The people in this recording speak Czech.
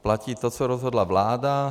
Platí to, co rozhodla vláda.